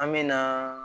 An me na